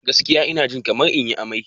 Gaskiya, ina jin kamar in yi amai.